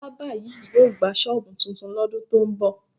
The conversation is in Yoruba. Bábà yìí yóò gba ṣọ́ọ̀bù tuntun lọ́dún tó ń bọ̀